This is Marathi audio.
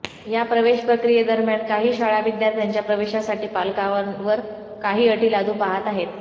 या प्रवेशप्रक्रियेदरम्यान काही शाळा विद्यार्थ्यांच्या प्रवेशासाठी पालकांवर काही अटी लादू पाहात आहेत